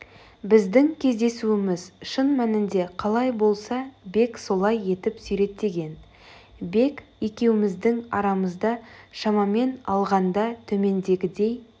біздің кездесуіміз шын мәнінде қалай болса бек солай етіп суреттеген бек екеуміздің арамызда шамамен алғанда төмендегідей